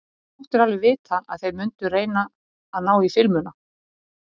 Þú máttir alveg vita að þeir mundu reyna að ná í filmuna!